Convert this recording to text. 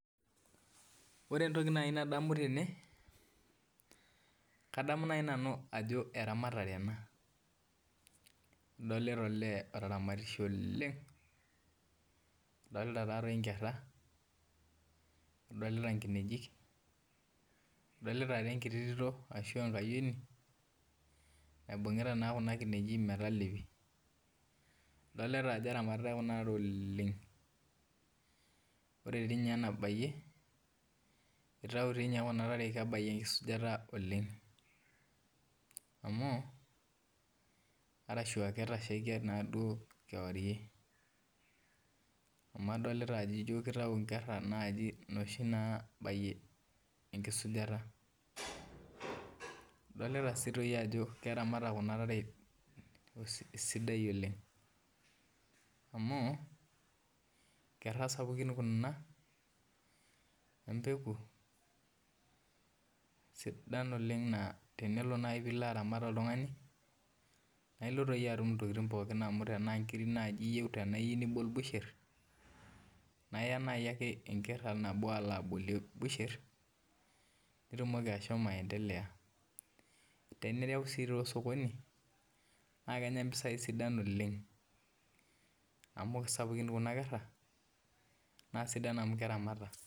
Ore entoki naaji nadamu tene naa kadamu ajo eramatare ena adolita olee oramatita inkera adolita enkiti tito ashua enkayiano naibungita naakuna kineji metalepi adolita ajo eramatitai kuna tare oleng ashuu kadolita ajo ketashaikia duao kewarie amu adolita ajo jio kitayu inkera naaji inoshi naabayie enkisujata adolita sii ajo keramatayu kuuna tare esidai oleng amu inkera sapukin kuna empeku sidain oleng naa tinilo aramat oltung'ani naa ilo atum intokitin pookin amu tenaa inkirk iyieu naa iya busher enker nabo alo abolie busher nitumoki ashomo aendelea tenireu sii osokoni naakenya impisai sidai oleng